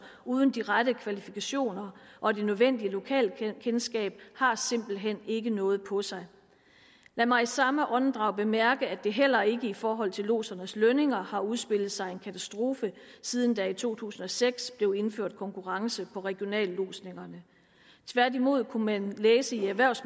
uden de rette kvalifikationer og det nødvendige lokalkendskab har simpelt hen ikke noget på sig lad mig i samme åndedrag bemærke at der heller ikke i forhold til lodsernes lønninger har udspillet sig en katastrofe siden der i to tusind og seks blev indført konkurrence på regionallodsninger tværtimod kunne man læse i erhvervs